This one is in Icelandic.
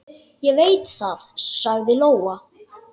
Ég veit það, sagði Lóa.